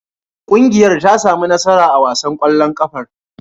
Ƙungiyar ta sami nasara a wasan ƙwallon ƙafar.